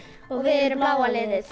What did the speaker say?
og við erum bláa liðið